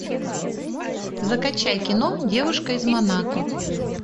закачай кино девушка из монако